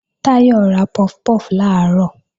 Táyọ̀ ra puff puff làárọ̀